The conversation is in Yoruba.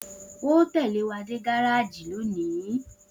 O óò tè̩lé wa dé gárájì lónìí!